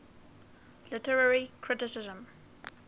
literary criticism